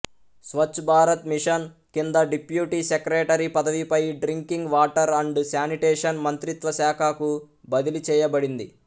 Swach Bharat mission కింద deputy secretary పదవిపై drinking water and sanitation మంత్రిత్వ శాఖకు బదిలీ చేయబడింది